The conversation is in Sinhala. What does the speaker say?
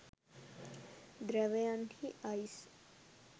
ධ්‍රැවයන් හි අයිස්